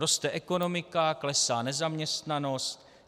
Roste ekonomika, klesá nezaměstnanost.